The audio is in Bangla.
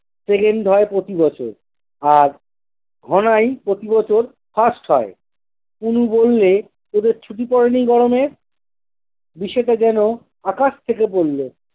second হয় প্রতি বছর। আর ঘনাই প্রতি বছর first হয়। টুনি বললে- তোদের ছুটি পড়েনি গরমে? বিশেটা যেন আকাশ থেকে পড়ল!